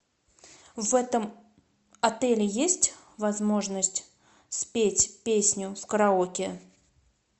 в этом отеле есть возможность спеть песню в караоке